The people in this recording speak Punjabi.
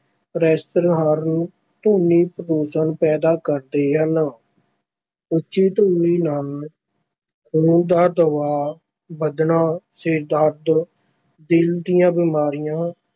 Pressure horn ਧੁਨੀ ਪ੍ਰਦੂਸ਼ਣ ਪੈਦਾ ਕਰਦੇ ਹਨ ਉੱਚੀ ਧੁਨੀ ਨਾਲ ਖੂਨ ਦਾ ਦਬਾਅ ਵਧਣਾ, ਸਿਰ ਦਰਦ ਦਿਲ ਦੀਆਂ ਬਿਮਾਰੀਆਂ